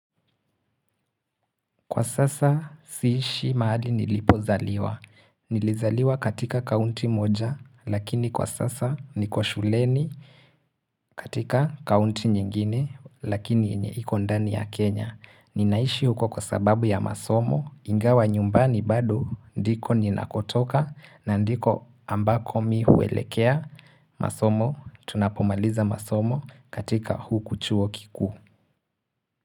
Kwa sasa siishi mahali nilipozaliwa. Nilizaliwa katika kaunti moja lakini kwa sasa niko shuleni katika kaunti nyingine lakini yenye iko ndani ya Kenya. Ninaishi huko kwa sababu ya masomo. Ingawa nyumbani bado ndiko ninakotoka na ndiko ambako mi huelekea masomo. Tunapomaliza masomo katika huku chuo kikuu.